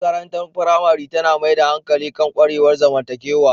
Makarantar firamare yawanci tana mai da hankali kan ƙwarewar zamantakewa.